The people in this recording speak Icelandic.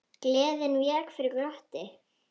Gleðin vék fyrir glotti.